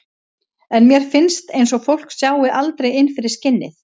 En mér finnst eins og fólk sjái aldrei inn fyrir skinnið.